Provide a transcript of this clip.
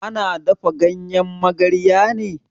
Ana dafa ganyen magarya ne?